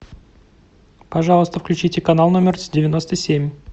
пожалуйста включите канал номер девяносто семь